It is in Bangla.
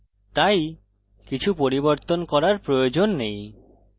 তাই কিছু পরিবর্তন করার প্রয়োজন নেই